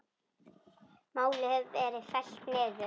Málið hefur verið fellt niður.